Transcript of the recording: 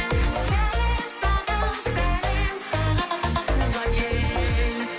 сәлем саған сәлем саған туған ел